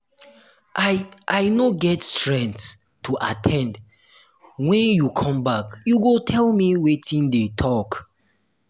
i i no get strength to at ten d wen you come back you go tell me wetin dey talk.